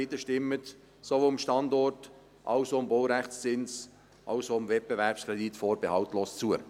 Bitte stimmen Sie sowohl dem Standort als auch dem Baurechtszins wie auch dem Wettbewerbskredit vorbehaltslos zu.